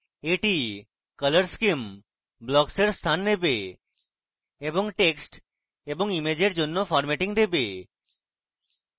এটি colour scheme blocks এর স্থান দেবে এবং text এবং ইমেজের জন্য formatting দেবে